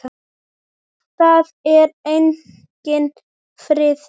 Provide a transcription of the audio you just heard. Það er enginn friður!